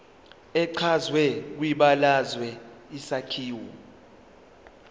echazwe kwibalazwe isakhiwo